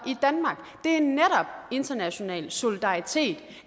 i international solidaritet